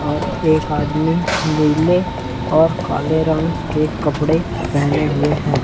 और एक आदमी नीले और काले रंग के कपड़े पहने हुए हैं।